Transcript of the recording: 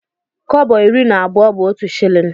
Kọbọ iri na abụọ bu otụ shillin.